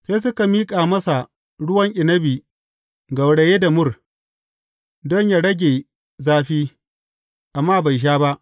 Sai suka miƙa masa ruwan inabi gauraye da mur, don yă rage zafi, amma bai sha ba.